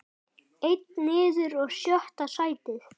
Einn niður og sjötta sætið.